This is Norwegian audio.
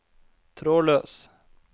trådløs